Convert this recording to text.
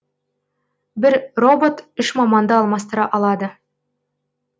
бір робот үш маманды алмастыра алады